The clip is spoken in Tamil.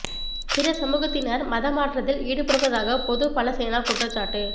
பிற சமூகத்தினர் மத மாற்றத்தில் ஈடுபடுவதாக பொது பல சேனா குற்றச்சாட்டு